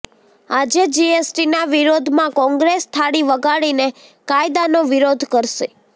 આજે જીએસટીના વિરોધમાં કોંગ્રેસ થાળી વગાડીને કાયદાનો વિરોધ કરશે